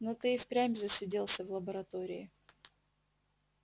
но ты и впрямь засиделся в лаборатории